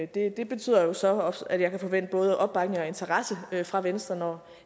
det det betyder jo så også at jeg kan forvente både opbakning og interesse fra venstre når